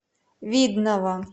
видного